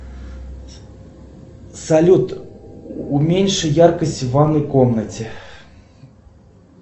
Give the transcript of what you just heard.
салют уменьши яркость в ванной комнате